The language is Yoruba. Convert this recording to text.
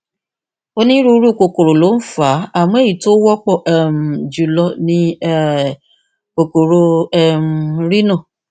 onírúurú kòkòrò ló ń fà á àmọ èyí tó wọ́pọ̀ um jùlọ ní um kòkòrò um rhino